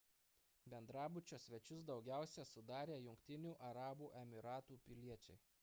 bendrabučio svečius daugiausia sudarė jungtinių arabų emyratų piliečiai